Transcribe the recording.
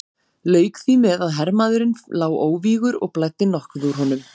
Lauk því með að hermaðurinn lá óvígur og blæddi nokkuð úr honum.